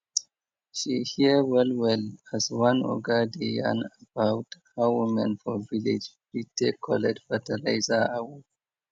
she hear well well as one oga dey yan about how women for village fit take collect fertilizer awoof